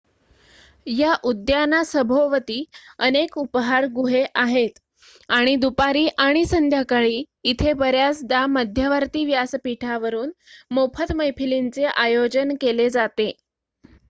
या उद्यानासभोवती अनेक उपाहार गुहे आहेत आणि दुपारी आणि संध्याकाळी इथे बर्‍याचदा मध्यवर्ती व्यासपीठावरून मोफत मैफिलींचे आयोजन केले जाते